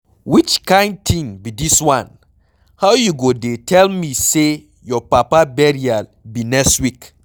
Which kin thing be dis one? How you go dey tell me say your papa burial be next week.